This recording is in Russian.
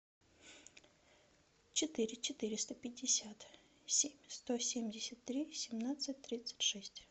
четыре четыреста пятьдесят семь сто семьдесят три семнадцать тридцать шесть